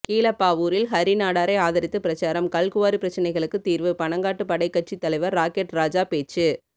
கீழப்பாவூரில் ஹரிநாடாரை ஆதரித்து பிரசாரம் கல்குவாரி பிரச்னைகளுக்கு தீர்வு பனங்காட்டு படை கட்சி தலைவர் ராக்கெட் ராஜா பேச்சு